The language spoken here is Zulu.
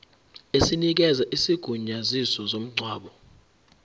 esinikeza isigunyaziso somngcwabo